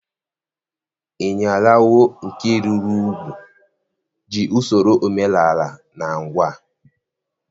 Iyalawo nke rụrụ úgwù ji usoro omenala na ngwa.